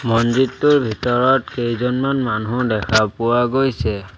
মছজিদটোৰ ভিতৰত কেইজনমান মানুহ দেখা পোৱা গৈছে।